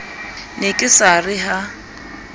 ne ke sa re ha